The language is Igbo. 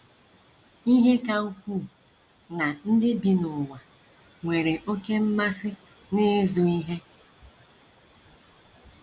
Ihe ka ukwuu ná ndị bi n’ụwa nwere oké mmasị n’ịzụ ihe.